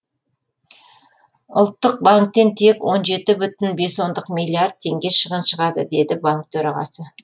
ұлттық банктен тек он еті бүтін бес ондық миллиард теңге шығын шығады деді банк төрағасы